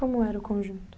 Como era o conjunto?